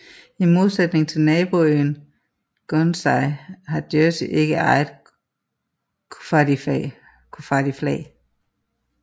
I modsætning til naboøen Guernsey har Jersey ikke eget koffardiflag